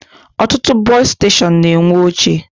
Ọtụtụ bọsụ steshọnụ na-enwe oche